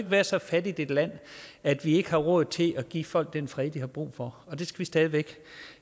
være så fattigt et land at vi ikke har råd til at give folk den fred de har brug for og det skal vi stadig væk